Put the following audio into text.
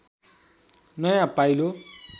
नयाँ पाइलो